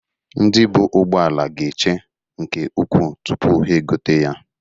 Ndị buu ugboala ga-eche nke ukwu tụpụ ha egote ya.